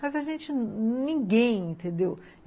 Mas a gente, ninguém, entendeu?